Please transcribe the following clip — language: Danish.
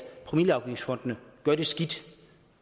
promilleafgiftsfondene gør det skidt